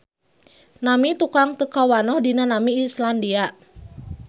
Nami tukang teu kawanoh dina nami Islandia.